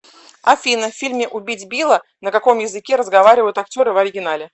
афина в фильме убить билла на каком языке разговаривают актеры в оригинале